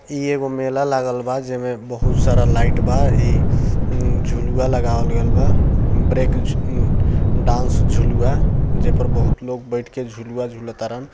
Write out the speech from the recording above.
ई एगो मेला लागलव बा जै में बहुत सारा लाइट बा ई ऊ झुलुआ लगावल गैल बा ब्रेक ऊ ऊ डांस झुलूआ जै पर बहुत लोग बैठ के झूलुआ झूलत बाडन।